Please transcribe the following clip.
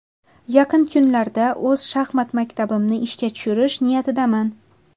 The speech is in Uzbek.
Yaqin kunlarda o‘z shaxmat maktabimni ishga tushirish niyatidaman.